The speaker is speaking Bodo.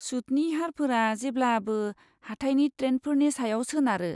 सुतनि हारफोरा जेब्लाबो हाथाइनि ट्रेन्डफोरनि सायाव सोनारो।